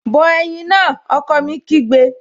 Bọ ẹ̀yin náà! Ọkọ mi kígbe